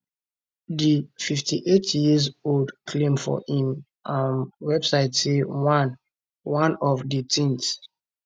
di 58 year old claim for im um website say one one of di tins